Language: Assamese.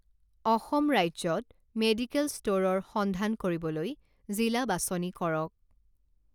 অসম ৰাজ্যত মেডিকেল ষ্ট'ৰৰ সন্ধান কৰিবলৈ জিলা বাছনি কৰক